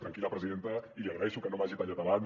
tranquil·la presidenta i li agraeixo que no m’hagi tallat abans